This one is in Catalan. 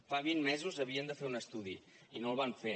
fa vint mesos havien de fer un estudi i no el van fer